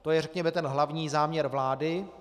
To je řekněme ten hlavní záměr vlády.